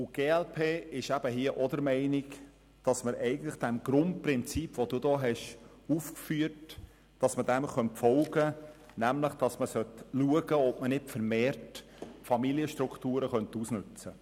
Die glp ist auch der Meinung, dass man dem Grundprinzip, das Sie ausgeführt haben, folgen könnte und in Betracht ziehen sollte, vermehrt Familienstrukturen auszunützen.